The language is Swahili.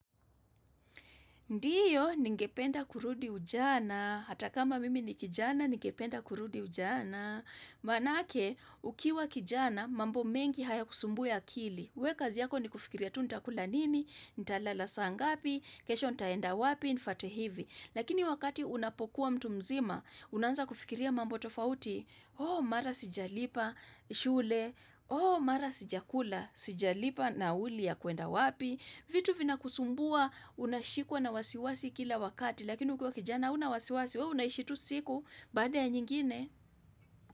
Ndiyo, ningependa kurudi ujana, hata kama mimi ni kijana, ningependa kurudi ujana, manake ukiwa kijana, mambo mengi haya kusumbui akili, wekazi yako ni kufikiria tu nitakula nini, nitalala saa ngapi, kesho nitaenda wapi, nifate hivi, lakini wakati unapokuwa mtu mzima, unaanza kufikiria mambo tofauti, oh mara sijalipa shule, oh mara sijakula, sijalipa nauli ya kwenda wapi, vitu vinakusumbua unashikwa na wasiwasi kila wakati Lakini ukiwa kijana unawasiwasi we unaishi tu siku baada ya nyingine.